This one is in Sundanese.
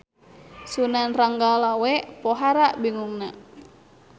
Sunan Ranggalawe pohara bingungna.